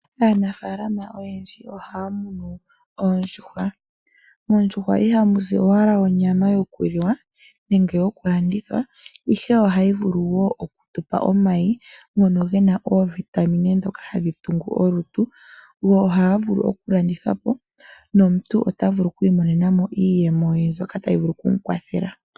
Aanafalama oyendji ohaa munu oondjuhwa. Moondjuhwa ihamu zi owala onyama yokuliwa nenge yoku landithwa ihe ohayi vulu woo okutupa omayi ngono gena oovitamine ndhoka hadhi tungu olutu. Go ohaga vulu okulandithwapo nomuntu otavu lu oku imonena mo iiyemo ye mbyoka tayi vulu okumukwathela.